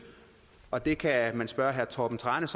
og det kan man spørge herre torben tranæs